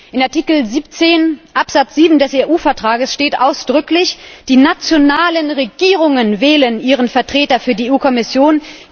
Denn in Artikel 17 Absatz 7 des EU Vertrages steht ausdrücklich Die nationalen Regierungen wählen ihren Vertreter für die EU Kommission.